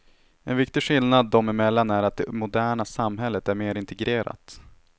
En viktig skillnad dem emellan är att det moderna samhället är mer integrerat.